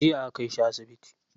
Jiya aka kai shi asibiti.